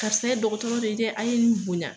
Karisa ye dɔgɔtɔrɔ de ye dɛ a ye nin bonya